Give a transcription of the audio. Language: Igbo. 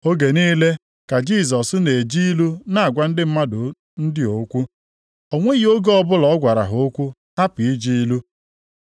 Oge niile ka Jisọs na-eji ilu na-agwa ndị mmadụ ndị a okwu. O nweghị oge ọbụla ọ gwara ha okwu hapụ iji ilu.